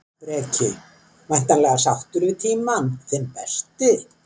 Breki: Væntanlega sáttur við tímann, þinn besti?